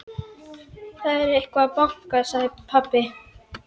Það er einhver að banka, sagði pabbi.